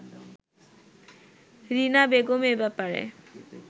রীনা বেগম এ ব্যাপারে